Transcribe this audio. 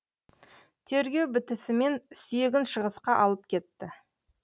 тергеу бітісімен сүйегін шығысқа алып кетті